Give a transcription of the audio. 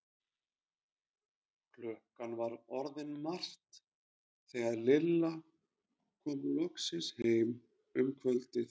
Klukkan var orðin margt þegar Lilla kom loksins heim um kvöldið.